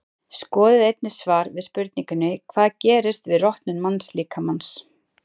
Skoðið einnig svar við spurningunni Hvað gerist við rotnun mannslíkamans?